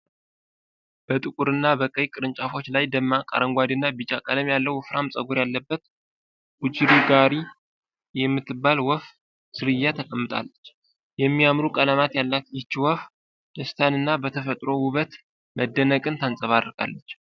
በጥቁር እና በቀይ ቅርንጫፎች ላይ ደማቅ አረንጓዴ እና ቢጫ ቀለም ያለው ወፍራም ፀጉር ያላት ቡጅሪጋር የምትባል የወፍ ዝርያ ተቀምጣለች። የሚያምሩ ቀለማት ያላት ይህች ወፍ ደስታንና በተፈጥሮ ውበት መደነቅን ታንፀባርቃለች።